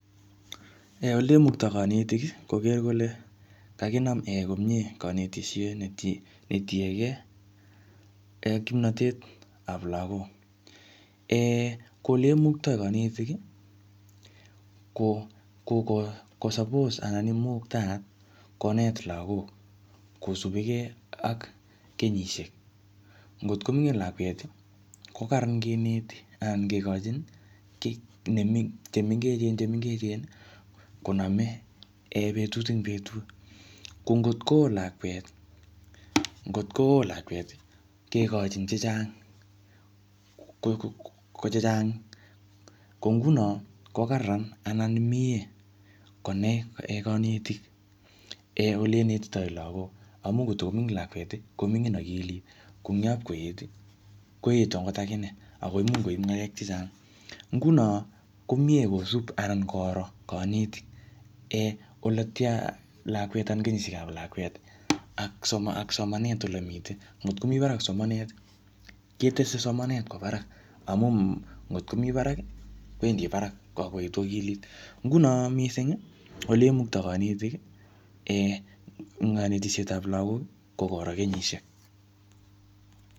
ee olemukto konetiki koker kole kakinam komie kanetishet netiekee kimnotetab lagok koleimukto konetiki kokosapos anan koimuktayat konet lagok kosupukee ak kenyishek ngot komian lakweti kokaran ngineti anan ngikochini kit chemengecheni chemengecheni konomee betut en betut kongot koo lakwet ngot koo lakweti kekochin chechang ko chechang ko ngunon kokaran anan mie konai konetik ole inetitoi lagok amun ngot komingin lakweti komingin okilit kongap koeti koetu ot akine akoi imuch koip ngalek chechang ngunon komie kosup anankoro konetik oletian lakwet anan kenyishekab lakweti ak somanet ole miten ngot komi barak somaneti ketese somanet kwo barak amun ngot komi baraki kwendi barak ak koetu okilit ngunon misingi oleimukto konetik kanetishetab lagoki kokokoro kenyishek